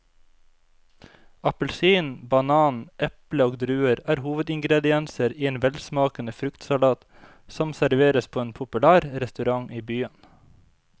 Appelsin, banan, eple og druer er hovedingredienser i en velsmakende fruktsalat som serveres på en populær restaurant i byen.